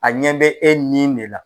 A ɲɛ bɛ e nin ne la.